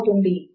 out put